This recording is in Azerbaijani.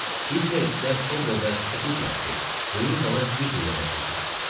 Hitlerçilər o qədər çox idilər ki, böyük zala güclə yerləşirdilər.